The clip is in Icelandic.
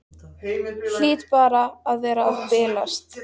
Hlýt bara að vera að bilast.